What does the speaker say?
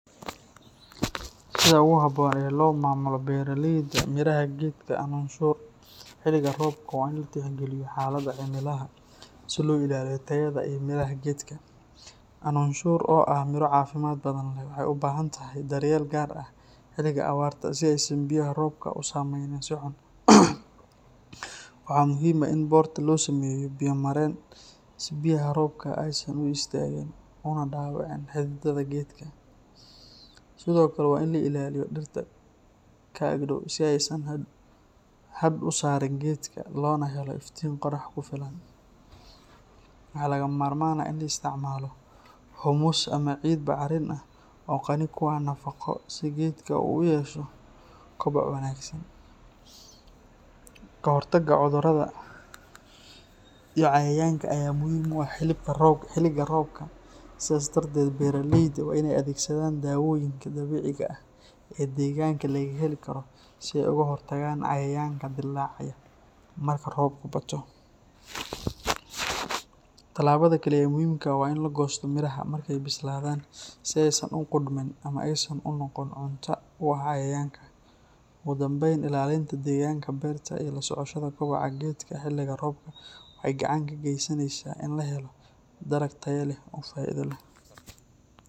Sida ugu habboon ee loo maamulo beeraleyda miraha geedka Annuunshuur xilliga roobka waa in la tixgaliyo xaaladaha cimilada si loo ilaaliyo tayada iyo midhaha geedka. Annuunshuur, oo ah miro caafimaad badan leh, waxay u baahan tahay daryeel gaar ah xilliga awrta si aysan biyaha roobka u saameynin si xun. Waxaa muhiim ah in beerta loo sameeyo biyo-mareen si biyaha roobka aysan u istaagin una dhaawicin xididada geedka. Sidoo kale, waa in la ilaaliyo dhirta ka ag dhow si aysan hadh u saarin geedka loona helo iftiin qorrax ku filan. Waxaa lagama maarmaan ah in la isticmaalo humus ama ciid bacrin ah oo qani ku ah nafaqo si geedka u yeesho koboc wanaagsan. Ka hortagga cudurrada iyo cayayaanka ayaa muhiim u ah xilliga roobka, sidaas darteed beeraleyda waa inay adeegsadaan daawooyinka dabiiciga ah ee deegaanka laga heli karo si ay uga hortagaan cayayaanka dilaaca marka roobku bato. Tallaabada kale ee muhiimka ah waa in la goosto miraha markay bislaadaan si aysan u qudhmin ama aysan u noqon cunto u ah cayayaanka. Ugu dambeyn, ilaalinta deegaanka beerta iyo la socoshada kobaca geedka xilliga roobka waxay gacan ka geysaneysaa in la helo dalag tayo leh oo faa’iido leh.